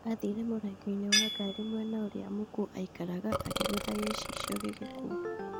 Athire mũrango-inĩ wa ngari mwena ũrĩa mũkuo aikaraga akĩgũtha gĩcicio gĩgĩkua